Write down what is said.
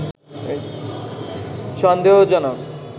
সন্দেহজনক